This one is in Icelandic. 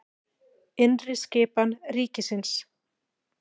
Innri skipan ríkisins